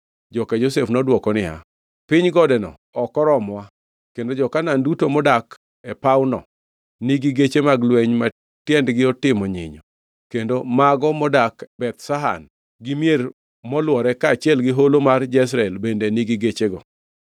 Joka Josef to nodwoko niya, “Piny godeno ok oromowa, kendo jo-Kanaan duto modak e pawno nigi geche mag lweny ma tiendgi otimo nyinyo, kendo mago modak Beth Shan gi mier molwore kaachiel gi holo mar Jezreel bende nigi gechego.”